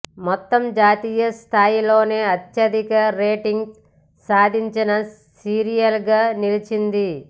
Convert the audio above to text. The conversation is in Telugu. మొత్తం జాతీయ స్థాయిలోనే అత్యధిక రేటింగ్స్ సాధించిన సీరియల్గా నిలిచింది